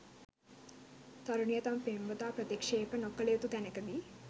තරුණිය තම පෙම්වතා ප්‍රතික්ෂේප නොකල යුතු තැනකදී